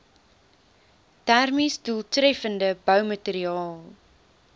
termies doeltreffende boumateriaal